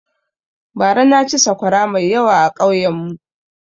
Bara na ci saƙwara mai yawa a ƙauyen mu